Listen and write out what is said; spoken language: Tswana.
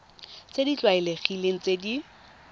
tse di tlwaelegileng tse di